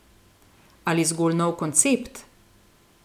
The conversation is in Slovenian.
Ali zgolj nov koncept?